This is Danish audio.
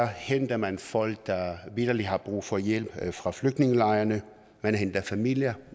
henter man folk der vitterlig har brug for hjælp fra flygtningelejrene man henter familier